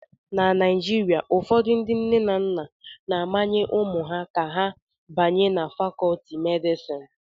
Na Naijiria, ụfọdụ ndị nne na nna na-amanye ụmụ ha ka ha banye na Fakọọti medịsịn